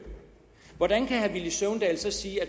hvordan kan herre villy søvndal så sige at